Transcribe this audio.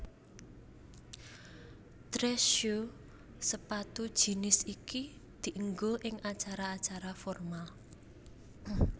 Dress Shoe sepatu jinis iki dienggo ing acara acara formal